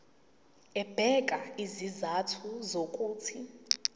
ebeka izizathu zokuthi